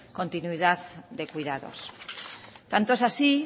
continuidad de cuidados tanto es así